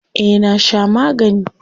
Eh na sha magani.